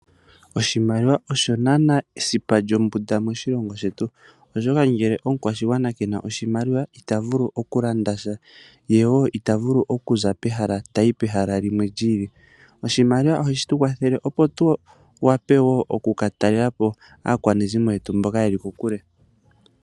Oshimaliwa osho esipa lyombunda moshilongo shetu oshoka ngele omukwashigwana kena oshimaliwa ita vulu okulandasha, ye ita vulu okuza pehala tayi pehala limwe li ili. Oshimaliwa ohashitu kwathele opo tu wape okukatalela po aakwanezimo yetu mboka yeli kokule.